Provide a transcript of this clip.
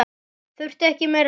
Þurfti ekki meira til.